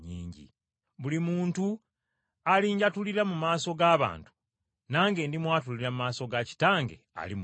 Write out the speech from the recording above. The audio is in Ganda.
“Buli muntu alinjatulira mu maaso g’abantu, nange ndimwatulira mu maaso ga Kitange ali mu ggulu.